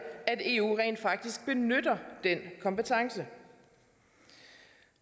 at eu rent faktisk benytter den kompetence